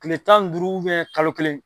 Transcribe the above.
Kile tan ni duuru kalo kelen.